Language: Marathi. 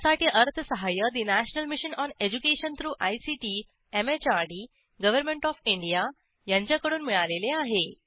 यासाठी अर्थसहाय्य national mission on education through ICT MHRD government of India यांच्याकडून मिळालेले आहे